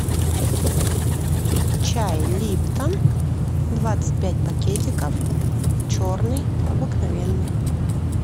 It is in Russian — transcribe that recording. чай липтон двадцать пять пакетиков черный обыкновенный